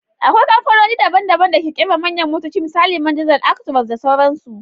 Akwai kamfanoni daban-daban da ke kera manyan motoci misali Man diesel, Actross da sauransu.